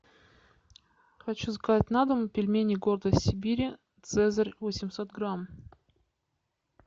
хочу заказать на дом пельмени гордость сибири цезарь восемьсот грамм